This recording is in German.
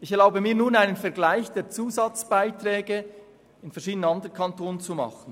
Ich erlaube mir nun einen Vergleich zwischen den Zusatzbeiträgen verschiedener anderer Kantone.